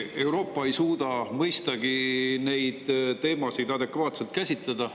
Euroopa ei suuda mõistagi neid teemasid adekvaatselt käsitleda.